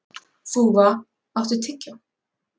Þúfa, áttu tyggjó?